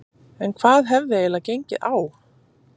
En hvað hafði eiginlega gengið á?